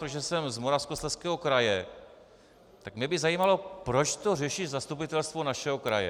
Protože jsem z Moravskoslezského kraje, tak mě by zajímalo, proč to řeší zastupitelstvo našeho kraje.